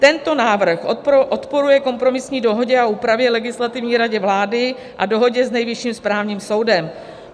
Tento návrh odporuje kompromisní dohodě a úpravě Legislativní rady vlády a dohodě s Nejvyšším správním soudem.